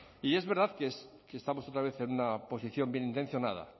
y es verdad que estamos otra vez en una posición bienintencionada